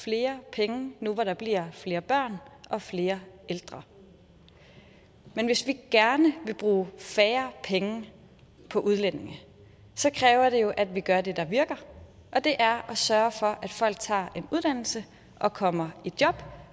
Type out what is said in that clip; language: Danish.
flere penge nu hvor der bliver flere børn og flere ældre men hvis vi gerne vil bruge færre penge på udlændinge kræver det jo at vi gør det der virker og det er at sørge for at folk tager en uddannelse og kommer i job